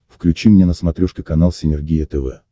включи мне на смотрешке канал синергия тв